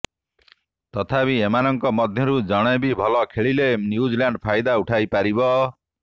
ତଥାପି ଏମାନଙ୍କ ମଧ୍ୟରୁ ଜଣେ ବି ଭଲ ଖେଳିଲେ ନ୍ୟୁଜିଲାଣ୍ଡ୍ ଫାଇଦା ଉଠାଇ ପାରିବ